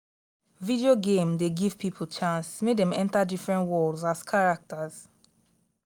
video game dey give pipo chance make dem enter different worlds as characters